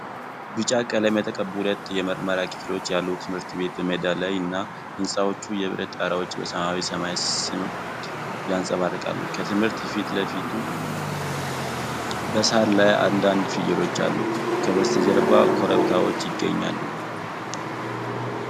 ቢጫ ቀለም የተቀቡ ሁለት የመማሪያ ክፍሎች ያሉት ትምህርት ቤት በሜዳ ላይ እና፣ የሕንፃዎቹ የብረት ጣሪያዎች በሰማያዊ ሰማይ ስር ያንጸባርቃሉ። ከትምህርት ቤቱ ፊት ለፊት በሳር ላይ አንዳንድ ፍየሎች አሉ። ከበስተጀርባ ኮረብታዎች ይገኛሉ።